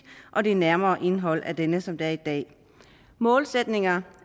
og det nærmere indhold af denne sådan som det er i dag målsætninger